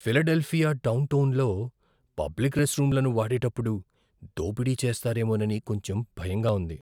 Philadelphia డౌన్టౌన్లో public రెస్ట్రూమ్లను వాడేటప్పుడు దోపిడీ చేస్తారేమోనని కొంచెం భయంగా ఉంది.